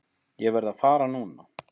Ég verð að fara núna!